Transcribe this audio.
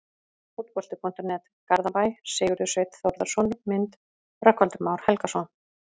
Fótbolti.net, Garðabæ- Sigurður Sveinn Þórðarson Mynd: Rögnvaldur Már Helgason